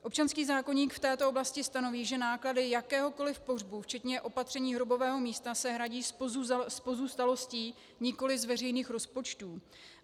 Občanský zákoník v této oblasti stanoví, že náklady jakéhokoliv pohřbu včetně opatření hrobového místa, se hradí z pozůstalostí nikoli z veřejných rozpočtů.